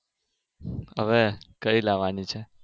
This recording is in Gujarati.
હવે કઈ લાવાની છે?